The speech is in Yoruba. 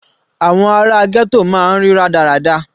Àwọn ara ghetto máa ń rí rádaràda.